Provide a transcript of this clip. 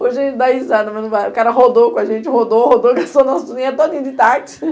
Hoje a gente dá risada, mas o cara rodou com a gente, rodou, rodou, gastou nosso dinheiro todinho de táxi.